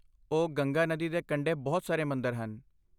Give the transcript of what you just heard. ਓ, ਗੰਗਾ ਨਦੀ ਦੇ ਕੰਢੇ ਬਹੁਤ ਸਾਰੇ ਮੰਦਰ ਹਨ।